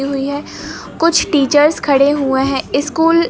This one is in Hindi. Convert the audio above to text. हुई है कुछ टीचर्स खड़े हुए हैं स्कूल --